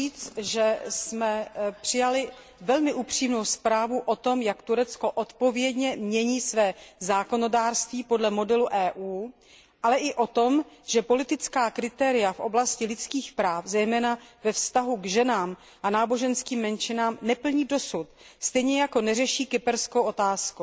Chci říct, že jsme přijali velmi upřímnou zprávu o tom, jak Turecko odpovědně mění své zákonodárství podle modelu EU, ale i o tom, že politická kritéria v oblasti lidských práv, zejména ve vztahu k ženám a náboženským menšinám, dosud neplní, stejně jako neřeší kyperskou otázku.